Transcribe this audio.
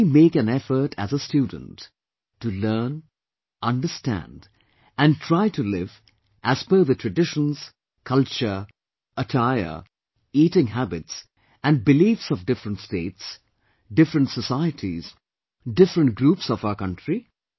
Can we make an effort as a student to learn, understand and try to live as per the traditions, culture, attire, eating habits and beliefs of different states, different societies, different groups of our country